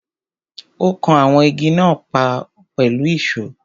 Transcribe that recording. Ó kan àwọn Igi náà pọ̀ pẹ̀lú ìsó.